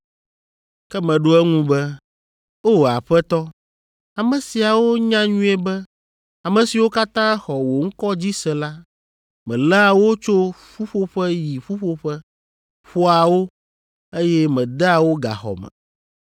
“Ke meɖo eŋu be, ‘O, Aƒetɔ, ame siawo nya nyuie be ame siwo katã xɔ wò ŋkɔ dzi se la, meléa wo tso ƒuƒoƒe yi ƒuƒoƒe, ƒoa wo, eye medea wo gaxɔ me.